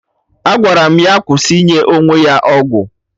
Agwara m ya kwụsị inye onwe ya ọgwụ